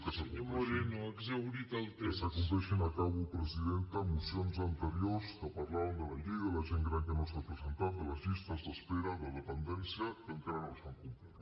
que s’acompleixin acabo presidenta mocions anteriors que parlaven de la llei de la gent gran que no s’ha presentat de les llistes d’espera de dependència que encara no s’han complert